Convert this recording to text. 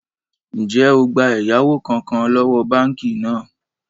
Ń jẹ́ ó gbà ẹ̀yáwó kánkán lọ́wọ́ báànkì náà?